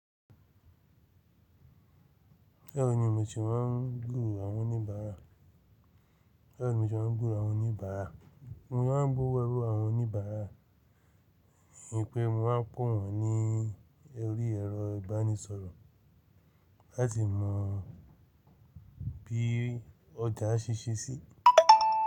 Báwo ni mo se máa ń gbúró àwọn oníbàárà. Mo se máa gburó àwọn oníbàárà, nìpè mo máa ń pé wọn ní orí ẹ̀rọ ìbánisọ̀rọ̀ láti mọ bi ọja se ṣe sí.